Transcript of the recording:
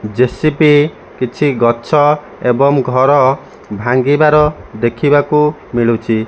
ଯେ_ସି_ପି କିଛି ଗଛ ଏବଂ ଘର ଭାଙ୍ଗିବାର ଦେଖିବାକୁ ମିଳୁଚି।